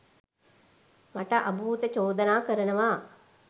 මට අභූත චෝදනා කරනවා